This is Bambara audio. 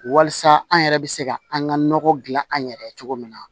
Walasa an yɛrɛ bɛ se ka an ka nɔgɔ dilan an yɛrɛ cogo min na